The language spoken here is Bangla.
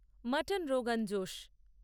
মটন রোগান জোশ